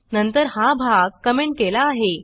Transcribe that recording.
नंतर हा भाग कॉमेंट केला आहे